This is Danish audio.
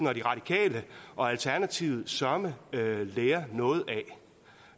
radikale og alternativet søreme lære noget